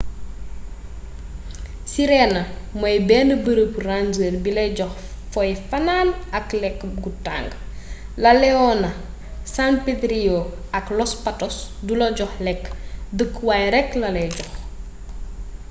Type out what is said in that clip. sirena mooy benn bërëb ranger bi lay jox foy fanan ak lékk gu tàng laleona san pedrillo and los patos du la jox lekk dëkku waay rekk lalay jox